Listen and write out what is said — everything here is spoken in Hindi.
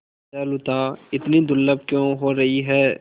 दयालुता इतनी दुर्लभ क्यों हो रही है